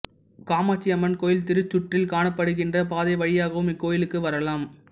காமாட்சியம்மன் கோயில் திருச்சுற்றில் காணப்படுகின்ற பாதை வழியாகவும் இக்கோயிலுக்கு வரலாம்